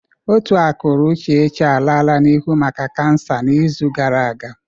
Ótù akụrụ Uchechi alala n'ihu maka kansa n'izu gara aga.